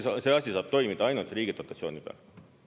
See asi saab toimida ainult riigi dotatsiooni peal.